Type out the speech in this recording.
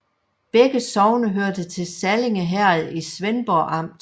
Begge sogne hørte til Sallinge Herred i Svendborg Amt